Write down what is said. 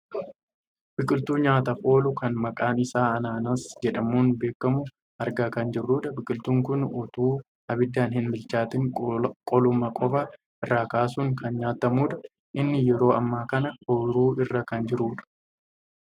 Biqiltuu nyaataaf oolu kan maqaan isaa ananaasii jedhamuun beekkamu argaa kan jirrudha. Biqiltuun kun otoo abiddaan hin bilchaatiin qoluma qofa irraa kaasuun kan nyaatamudha. Inni yeroo ammaa kana oyiruu irra kan jirudha.